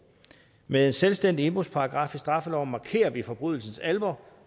med en selvstændig indbrudsparagraf i straffeloven markerer vi forbrydelsens alvor